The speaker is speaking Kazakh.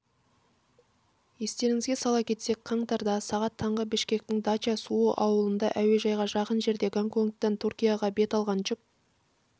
естеріңізге сала кетсек қаңтардасағат таңғы бішкектің дача-суу ауылында әуежайға жақын жерде гонконгтен түркияға бет алған жүк